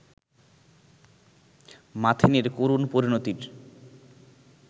মাথিনের করুণ পরিণতির